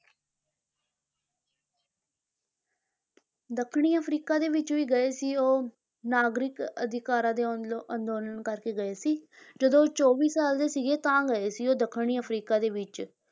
ਦੱਖਣੀ ਅਫਰੀਕਾ ਦੇ ਵਿੱਚ ਵੀ ਗਏ ਸੀ ਉਹ ਨਾਗਰਿਕ ਅਧਿਕਾਰਾਂ ਦੇ ਅੰਦੋਲਨ ਕਰਕੇ ਗਏ ਸੀ ਜਦੋਂ ਇਹ ਚੌਵੀ ਸਾਲ ਦੇ ਸੀਗੇ ਤਾਂ ਗਏ ਸੀ ਉਹ ਦੱਖਣੀ ਅਫਰੀਕਾ ਦੇ ਵਿੱਚ।